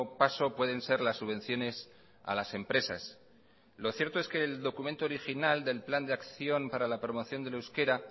paso pueden ser las subvenciones a las empresas lo cierto es que el documento general del plan de acción para la promoción del euskera